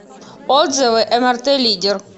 отзывы мрт лидер